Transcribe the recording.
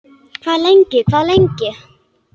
Hvað lengi, hvað lengi?